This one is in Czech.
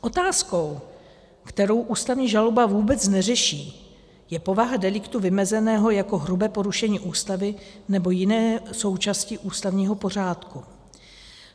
Otázkou, kterou ústavní žaloba vůbec neřeší, je povaha deliktu vymezeného jako hrubé porušení Ústavy nebo jiné součásti ústavního pořádku.